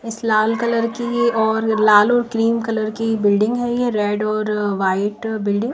इस लाल कलर की और लाल और क्रीम कलर की बिल्डिंग है ये रेड और व्हाइट बिल्डिंग --